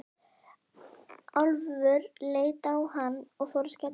Álfur leit á hann og fór að skellihlæja.